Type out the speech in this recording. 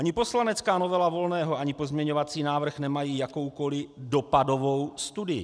Ani poslanecká novela Volného ani pozměňovací návrh nemají jakoukoliv dopadovou studii.